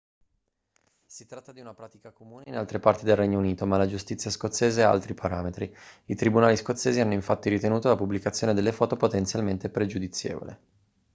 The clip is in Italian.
si tratta di una pratica comune in altre parti del regno unito ma la giustizia scozzese ha altri parametri i tribunali scozzesi hanno infatti ritenuto la pubblicazione delle foto potenzialmente pregiudizievole